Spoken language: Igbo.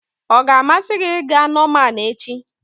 Ọ ga-amasị gị ịga Norman echi?